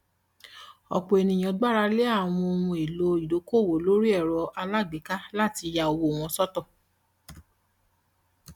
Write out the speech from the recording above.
ọpọ ènìyàn gbàralẹ àwọn ohun èlò ìdókòwò lórí erò alágbèéká láti ya owó wọn sọtọ